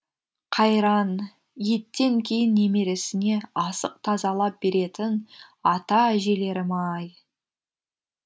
қайран еттен кейін немересіне асық тазалап беретін ата әжелерім ай